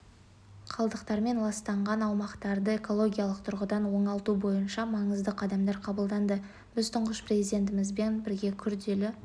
қалдықтармен ластанған аумақтарды экологиялық тұрғыдан оңалту бойынша маңызды қадамдар қабылданды біз тұңғыш президентімізбен бірге күрделі